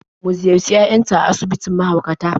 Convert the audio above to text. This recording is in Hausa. Mu ziyarci yayanta a asibitin mahaukata.